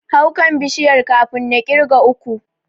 Hau kan Bishiyar kafin na ƙirga uku.